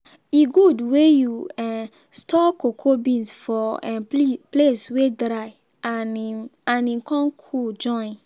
e good wey you um store cocoa beans for um place wey dry and im and im con cool join.